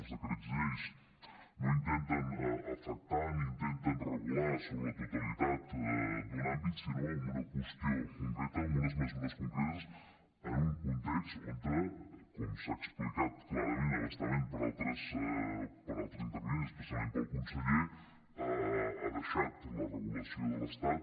els decrets lleis no intenten afectar ni intenten regular sobre la totalitat d’un àmbit sinó en una qüestió concreta amb unes mesures concretes en un context on com s’ha explicat clarament a bastament per altres intervinents especialment pel conseller ha deixat la regulació de l’estat